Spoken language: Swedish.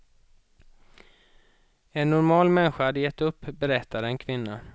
En normal människa hade gett upp, berättar en kvinna.